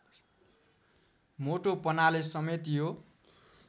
मोटोपनाले समेत यो